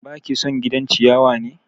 Baki son gidan ciyawa ne?